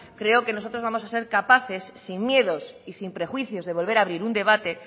creo que nosotros vamos a ser capaces sin miedos y sin prejuicios de volver a abrir un debate